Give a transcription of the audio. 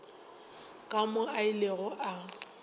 ka moo a ilego a